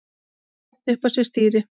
setti upp á sér stýri